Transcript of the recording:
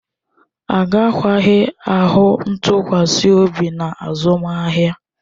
Agakwaghị ahụ ntụkwasị obi na azụmahịa